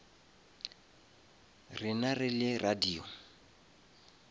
rena re le radio